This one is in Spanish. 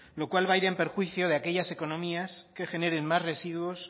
lo cual va a ir en perjuicio de aquellas economías que generen más residuos